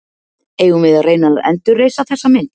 Eigum við að reyna að endurreisa þessa mynd?